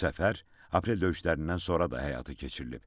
Bu səfər aprel döyüşlərindən sonra da həyata keçirilib.